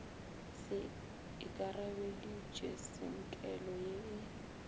se akareditpe tsinkelo ye e